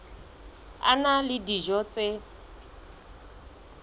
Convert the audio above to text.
a na le dijo tse